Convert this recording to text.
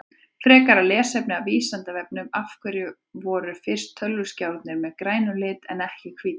Frekara lesefni af Vísindavefnum Af hverju voru fyrstu tölvuskjáirnir með grænum lit en ekki hvítir?